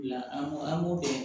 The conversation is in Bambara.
An b'o an b'o dɔn